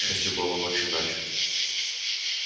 к счастью была ночь иначе